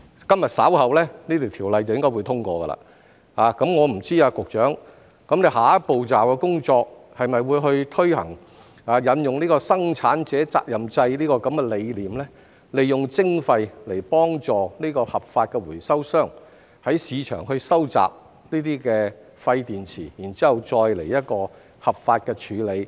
今日稍後這項條例草案應該會通過，我不知局長下一步驟的工作是否會推行生產者責任制的理念，利用徵費來幫助合法的回收商在市場收集廢電池，然後再作出合法的處理？